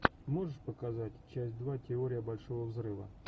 можешь показать часть два теория большого взрыва